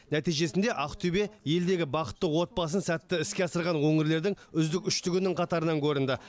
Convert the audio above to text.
нәтижесінде ақтөбе елдегі бақытты отбасы сәтті іске асырған өңірлердің үздік үштігінің қатарынан көрінді